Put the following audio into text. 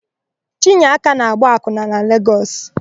Chinyeaka na-agba akwụna na Legọs.